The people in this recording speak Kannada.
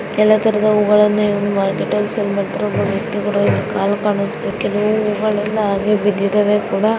ಎಲ್ಲಾ ತರಹದ ಹೂ ಗಳು ಮಾರ್ಕೆಟ್ ಲ್ಲಿ ಸೇಲ್ ಮಾಡುತ್ತಾರೆ. ಒಬ್ಬ ವ್ಯಕ್ತಿಯ ಕಾಲು ಕಾಣಿಸ್ತಾ ಇದೆ ಕೆಲವು ಹೂ ಗಳು ಹಾಗೆ ಬಿದ್ದಿದ್ದಾವೆ ಕೂಡಾ --